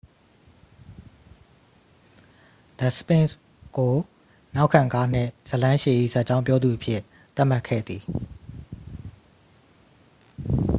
the sphinx ကို နောက်ခံကားနှင့် ဇာတ်လမ်းရှည်၏ ဇာတ်ကြောင်းပြောသူအဖြစ် သတ်မှတ်ခဲ့သည်